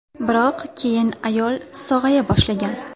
Biroq keyin ayol sog‘aya boshlagan.